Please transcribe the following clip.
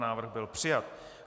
Návrh byl přijat.